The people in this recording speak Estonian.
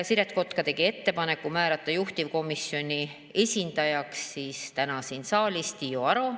Siret Kotka tegi ettepaneku määrata juhtivkomisjoni esindajaks täna siin saalis Tiiu Aro.